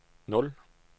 nul